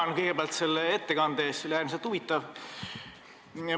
Tänan kõigepealt ettekande eest, see oli äärmiselt huvitav!